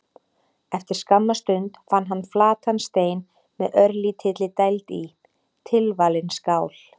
Eftir skamma stund fann hann flatan stein með örlítilli dæld í: tilvalin skál.